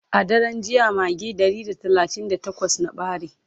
a daran jiya magi Ɗari da talatin da takwas na ɓare